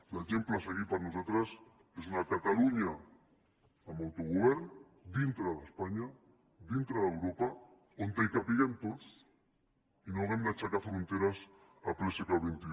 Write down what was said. l’exemple a seguir per nosaltres és una catalunya amb autogovern dintre d’espanya dintre d’europa on capiguem tots i no hàgim d’aixecar fronteres en ple segle xxi